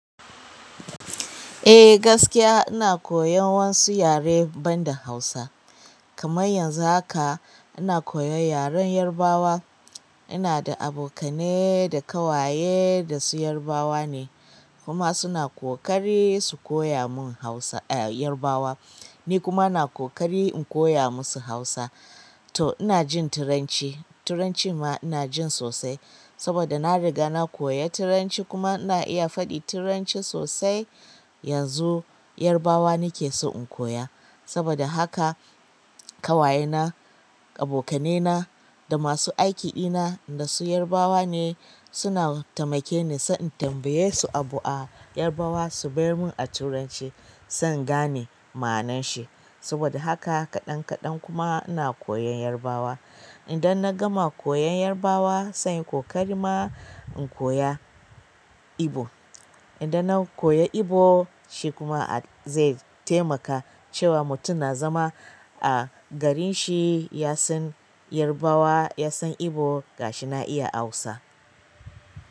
Eh gaskiya ina koyan wasu yare banda Hausa, kamar yanzu haka ina koyan yaren Yarbawa. Ina da abokane da ƙawaye da su Yarbawa ne kuma suna ƙoƙari su koya mun Hausa, eh Yarbawa. Ni kuma ina ƙoƙari in koya musu Hausa. To ina jin Turanci, Turanci ma ina jin sosai saboda na riga na koyi Turanci kuma ina iya faɗi Turanci sosai. Yanzu Yarbawa nake so in koya saboda haka ƙawaye na, abokane na da masu aiki ɗina da su Yarbawa ne suna taimake ni, sai in tambaye su abu a Yarbawa su bar mun a Turanci san in gane manan shi. Saboda haka kaɗan kaɗan kuma ina koyan Yarbawa. Idan na gama koyan Yarbawa sanyi ƙoƙari ma in koya Igbo. Idan na koya Igbo shi kuma zai taimaka cewa mutum na zama a garin shi ya san Yarbawa, ya san Igbo ga shi na iya Hausa.